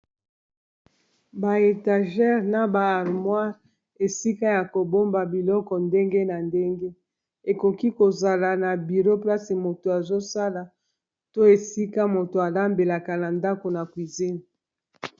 ba étagere na ba armoires esika ya kobomba biloko ndenge na ndenge ekoki kozala na biro mplasi moto azosala to esika moto alambelaka na ndako na cuizine